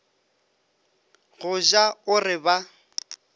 go ja o re ba